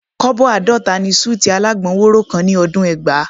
Kọ́bọ̀ àádọ́ta ni súùtì alágbọn wóró kan ní ọdún ẹgbàá